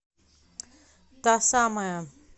та самая